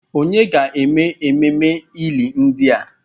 Ònye ga-eme ememe ili ndị a?